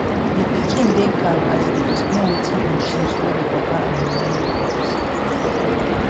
di pikin dey calm as e dey explain wetin im choose wey di papa and mama no understand